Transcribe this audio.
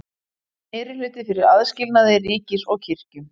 Meirihluti fyrir aðskilnaði ríkis og kirkju